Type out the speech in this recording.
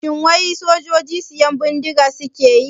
Shin wai sojoji siyan bindiga suke yi?